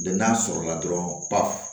n'a sɔrɔla dɔrɔn ba